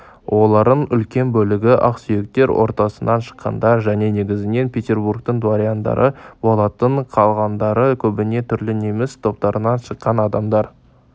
оларың үлкен бөлігі ақсүйектер ортасынан шыққандар және негізінен петербургтің дворяндары болатын қалғандары көбіне түрлі неміс топтарынан шыққан адамдар